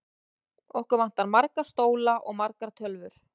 Okkur vantar marga stóla og margar tölvur.